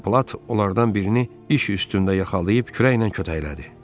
Tom plat onlardan birini iş üstündə yaxalayıb kürəklə kötəklədi.